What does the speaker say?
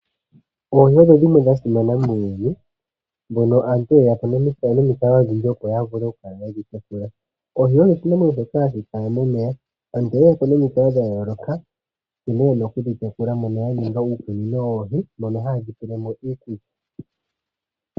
Oohi odho dhimwe dha simana muuyuni mpoka aantu ye ya po nomikalo odhindji opo ya vule okukala ye dhi tekula. Oohi odho oshinamwenyo shoka hashi kala momeya. Aantu oye ya po nomikalo dha yooloka nkene ye na okudhi tekula mono ya ninga uukunino woohi mono haye dhi pele mo iikulya.